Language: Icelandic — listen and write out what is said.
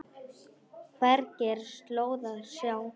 Hvergi er slóð að sjá.